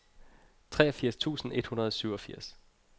treogfirs tusind et hundrede og syvogfirs